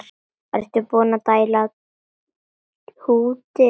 Ertu búinn að dælda húddið?